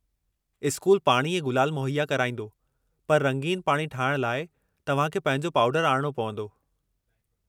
School पाणी ऐं गुलाल मुहैया कराईंदो, पर रंगीन पाणी ठाहिण लाइ तव्हां खे पंहिंजो पाउडरु आणणो पवंदो।